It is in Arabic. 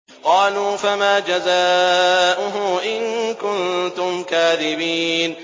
قَالُوا فَمَا جَزَاؤُهُ إِن كُنتُمْ كَاذِبِينَ